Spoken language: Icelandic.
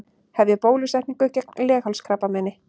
Hefja bólusetningu gegn leghálskrabbameini